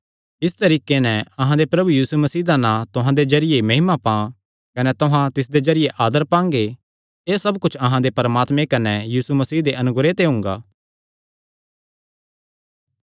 इस तरीके नैं अहां दे प्रभु यीशु मसीह दा नां तुहां दे जरिये महिमा पां कने तुहां तिसदे जरिये आदर पांगे एह़ सब कुच्छ अहां दे परमात्मे कने यीशु मसीह दे अनुग्रह ते हुंगा